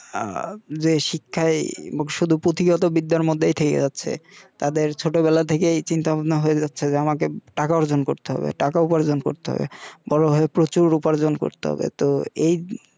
আ যে শিক্ষাই শুধু পুথিগত বিদ্যার মতই থেকে যাচ্ছে তাদের ছোটবেলা থেকেই চিন্তা ভাবনা হয়ে যাচ্ছে যে আমাকে টাকা অর্জন করতে হবে টাকা উপার্জন করতে হবে বড় হয়ে প্রচুর উপার্জন করতে হবে তো এই